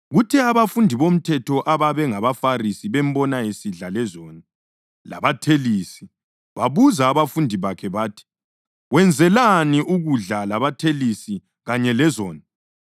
Kuthe abafundisi bomthetho ababe ngabaFarisi bembona esidla “lezoni” labathelisi babuza abafundi bakhe bathi, “Wenzelani ukudla labathelisi kanye ‘lezoni’?”